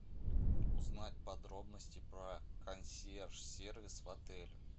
узнать подробности про консьерж сервис в отеле